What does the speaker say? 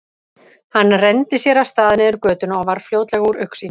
Hann renndi sér af stað niður götuna og var fljótlega úr augsýn.